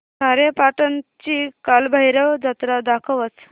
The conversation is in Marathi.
खारेपाटण ची कालभैरव जत्रा दाखवच